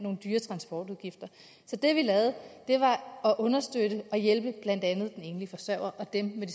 dyre transportudgifter så det vi lavede var at understøtte og hjælpe blandt andet de enlige forsørgere og dem med